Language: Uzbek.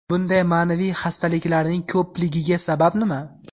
Bunday ma’naviy hastaliklarning ko‘pligiga sabab nima?